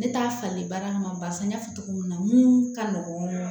Ne t'a fali baara kama barisa n y'a fɔ cogo min na mun ka nɔgɔn